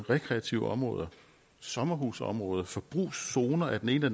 rekreative områder sommerhusområder forbrugszoner af den ene